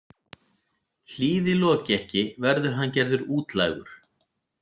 Hlýði Loki ekki verður hann gerður útlægur.